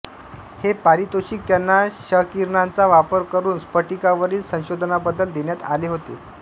हे पारितोषिक त्यांना क्षकिरणांचा वापर करुन स्फटिकांवरील संशोधनाबद्दल देण्यात आले होते